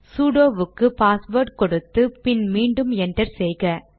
sudo வுக்கு password கொடுத்து பின் மீண்டும் என்டர் செய்க